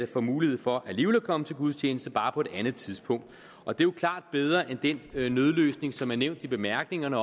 får mulighed for alligevel at kunne komme til gudstjeneste bare på et andet tidspunkt og det er jo klart bedre end den nødløsning som er nævnt i bemærkningerne